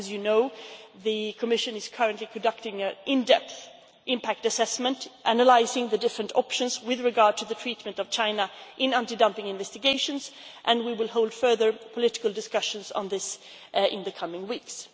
As you know, the Commission is currently conducting an in depth impact assessment analysing the various options with regard to the treatment of China in anti dumping investigations, and we will hold further political discussions on this in the coming weeks.